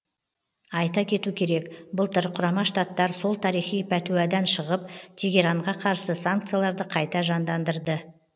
айта кету керек былтыр құрама штаттар сол тарихи пәтуадан шығып тегеранға қарсы санкцияларды қайта жандандырды